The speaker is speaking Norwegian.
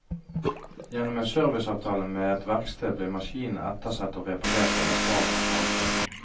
Gjennom en serviceavtale med et verksted blir maskinene ettersett og reparert av erfarne fagfolk.